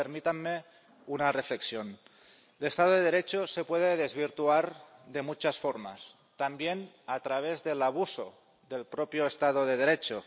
Pero permítanme una reflexión el Estado de Derecho se puede desvirtuar de muchas formas, también a través del abuso del propio Estado de Derecho.